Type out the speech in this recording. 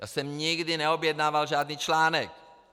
Já jsem nikdy neobjednával žádný článek.